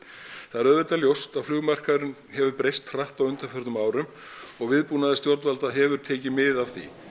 það er auðvitað ljóst að hefur breyst hratt á undanförnum árum og viðbúnaður stjórnvalda hefur tekið mið af því